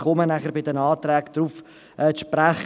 Ich komme nachher bei den Anträgen darauf zu sprechen.